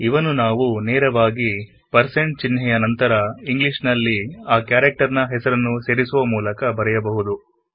ಆದರೂ ಇವನ್ನು160 ಚಿಹ್ನೆ ಯ ನಂತರ ಆ ಕ್ಯಾರೆಕ್ಟರ್ ನ ಹೆಸರನ್ನು ಸೇರಿಸುವ ಮೂಲಕ ಬರೆಯಬಹುದು